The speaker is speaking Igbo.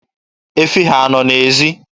Efi ha a nọ n'ezi?